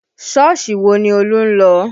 Sọ́ọ̀sì wo ni Olú ń lọ?